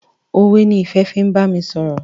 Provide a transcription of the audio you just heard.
òwe ni Ìfẹ fín bámi sọrọ.